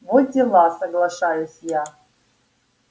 во дела соглашаюсь я